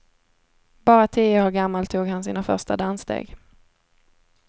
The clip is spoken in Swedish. Bara tio år gammal tog han sina första danssteg.